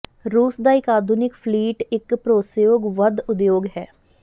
ਰੂਸ ਦਾ ਇੱਕ ਆਧੁਨਿਕ ਫਲੀਟ ਇੱਕ ਭਰੋਸੇਯੋਗ ਵਧ ਉਦਯੋਗ ਹੈ